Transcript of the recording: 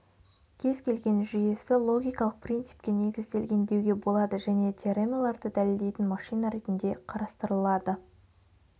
кез-келген жүйесі логикалық принципке негізделген деуге болады және теоремаларды дәлелдейтін машина ретінде қарастырылады